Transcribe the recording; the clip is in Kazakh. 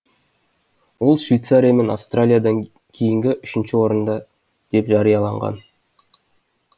ол швейцария мен австралиядан кейінгі үшінші орында деп жарияланған